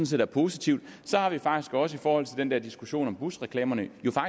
set er positivt så har vi faktisk også i forhold til den der diskussion om busreklamerne